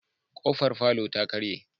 K'ofar falota karye.